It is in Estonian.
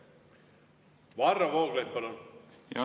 Varro Vooglaid, palun!